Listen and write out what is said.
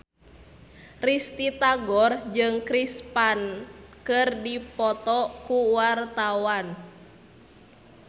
Risty Tagor jeung Chris Pane keur dipoto ku wartawan